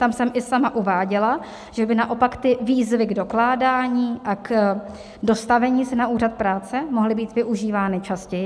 Tam jsem i sama uváděla, že by naopak ty výzvy k dokládání a k dostavení se na úřad práce mohly být využívány častěji.